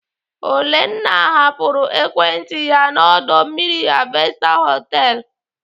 Olenna hapụrụ ekwentị ya na ọdọ mmiri Harvester họtelu.